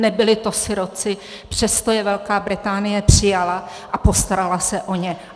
Nebyli to sirotci, přesto je Velká Británie přijala a postarala se o ně.